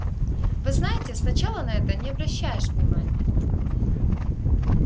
вы знаете сначала на это не обращаешь внимания